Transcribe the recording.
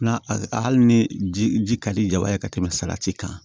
Na hali ni ji ka di jaba ye ka tɛmɛ salati kan